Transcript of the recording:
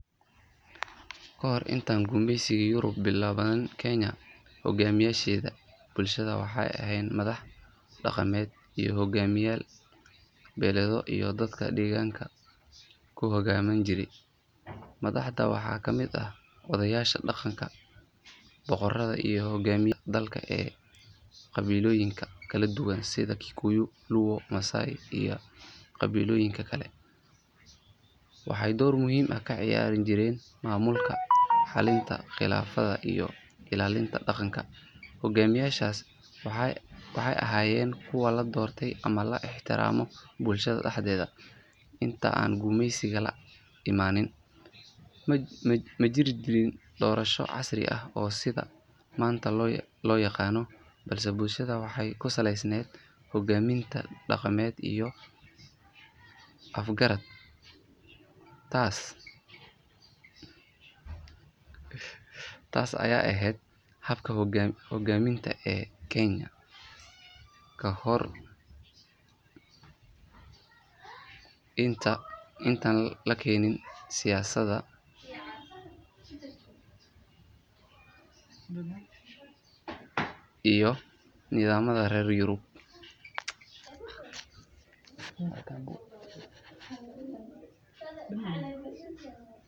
Kahor intaan gumeysigii Yurub bilaaban Kenya, hoggaamiyeyaasha bulshada waxay ahaayeen madax dhaqameedyo iyo hogaamiyeyaal beeleedyo oo dadka deegaanka ku hogaamin jiray. Madaxdan waxaa ka mid ahaa odayaasha dhaqanka, boqorrada iyo hogaamiyeyaasha dagaalka ee qabiilooyinka kala duwan sida Kikuyu, Luo, Maasai iyo qabiilooyinka kale. Waxay door muhiim ah ka ciyaari jireen maamulka, xallinta khilaafaadka iyo ilaalinta dhaqanka. Hoggaamiyeyaashan waxay ahaayeen kuwo la doortay ama la ixtiraamo bulshada dhexdeeda. Intii aan gumeysiga la imanin, ma jirin nidaam doorasho casri ah oo sida maanta loo yaqaan, balse bulshada waxay ku salaysanayd hogaaminta dhaqameed iyo is afgarad. Taas ayaa ahayd habka hoggaaminta ee Kenya ka hor intaan la keenin siyaasadda iyo nidaamyada reer Yurub.